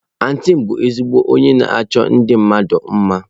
Antị m bu ezigbo onye na-achọ ndi mmadu mma.